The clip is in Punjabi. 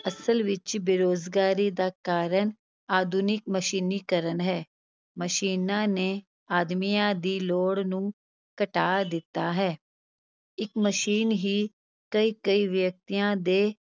ਅਸਲ ਵਿਚ ਬੇਰੁਜ਼ਗਾਰੀ ਦਾ ਕਾਰਨ ਆਧੁਨਿਕ ਮਸ਼ੀਨੀਕਰਨ ਹੈ, ਮਸ਼ੀਨਾਂ ਨੇ ਆਦਮੀਆਂ ਦੀ ਲੋੜ ਨੂੰ ਘਟਾ ਦਿੱਤਾ ਹੈ, ਇਕ ਮਸ਼ੀਨ ਹੀ ਕਈ-ਕਈ ਵਿਅਕਤੀਆਂ ਦੇ